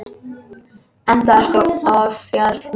Enda ert þú ofjarl minn.